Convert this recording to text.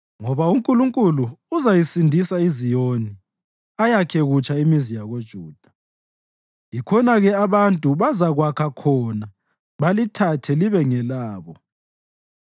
ngoba uNkulunkulu uzayisindisa iZiyoni ayakhe kutsha imizi yakoJuda. Yikhona-ke abantu bazakwakha khona balithathe libe ngelabo;